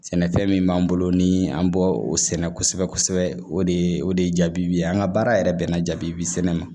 Sɛnɛfɛn min b'an bolo ni an bɔ o sɛnɛ kosɛbɛ kosɛbɛ o de ye o de ye jaabi ye an ka baara yɛrɛ bɛnna jaabi sɛnɛ ma